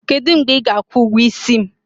Kedụ mgbe ị ga-akwụ ụgwọ isi m?